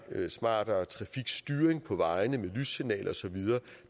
smartere trafikstyring på vejene med lyssignaler og så videre